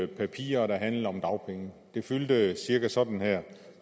papirer der handlede om dagpenge de fyldte cirka sådan her